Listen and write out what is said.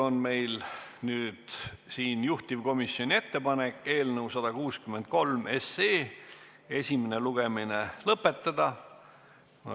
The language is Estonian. Juhtivkomisjoni ettepanek on eelnõu 163 esimene lugemine lõpetada.